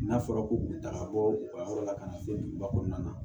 N'a fɔra ko k'u ta ka bɔ u ka yɔrɔ la ka na se duguba kɔnɔna na